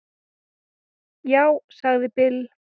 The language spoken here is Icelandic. Já, sagði Bill.